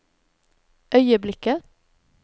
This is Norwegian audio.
øyeblikket